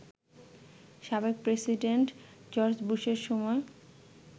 সাবেক president George বুশের সময়